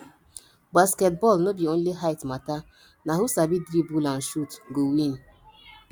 basketball no be only height matter na who sabi dribble and shoot go win